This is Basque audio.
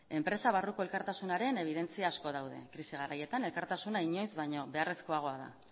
enpresa barruko elkartasunaren ebidentzia asko daude krisi garaietan elkartasuna inoiz baino beharrezkoagoa da